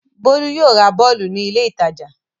Bólú yóò ra bọ́ọ́lù ní ilé-ìtajà.